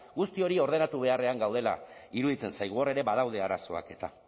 guzti hori ordenatu beharrean gaudela iruditzen zaigu hor ere badaude arazoak eta